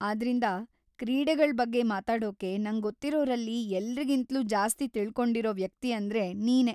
ಆದ್ರಿಂದ, ಕ್ರೀಡೆಗಳ್ ಬಗ್ಗೆ ಮಾತಾಡೋಕೆ ನಂಗೊತ್ತಿರೋರಲ್ಲಿ ಎಲ್ರಿಗಿಂತ್ಲೂ ಜಾಸ್ತಿ ತಿಳ್ಕೊಂಡಿರೋ ವ್ಯಕ್ತಿ ‌ಅಂದ್ರೆ ನೀನೇ.